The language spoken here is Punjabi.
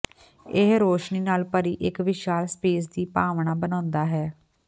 ਇਹ ਰੋਸ਼ਨੀ ਨਾਲ ਭਰੀ ਇੱਕ ਵਿਸ਼ਾਲ ਸਪੇਸ ਦੀ ਭਾਵਨਾ ਬਣਾਉਂਦਾ ਹੈ